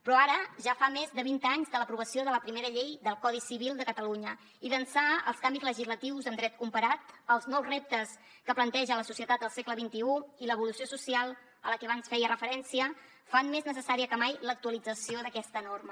però ara ja fa més de vint anys de l’aprovació de la primera llei del codi civil de catalunya i d’ençà els canvis legislatius en dret comparat els nous reptes que planteja la societat del segle xxi i l’evolució social a la que abans feia referència fan més necessària que mai l’actualització d’aquesta norma